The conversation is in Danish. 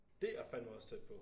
Dét er fandme også tæt på